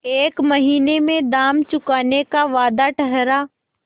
एक महीने में दाम चुकाने का वादा ठहरा